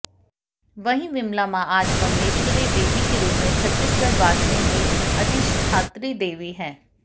वहीं विमला मां आज बमलेश्वरी देवी के रूप में छत्तीसगढ़ वासियों की अधिष्ठात्री देवी हैं